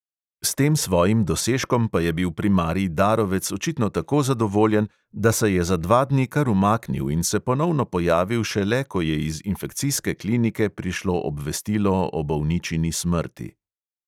S tem svojim dosežkom pa je bil primarij darovec očitno tako zadovoljen, da se je za dva dni kar umaknil in se ponovno pojavil šele, ko je iz infekcijske klinike prišlo obvestilo o bolničini smrti.